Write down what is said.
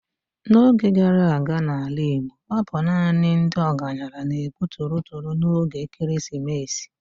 N'oge gara aga n'ala Igbo, ọ bụ naanị ndị ọgaranya na-egbu torotoro n'oge ekeresimesi.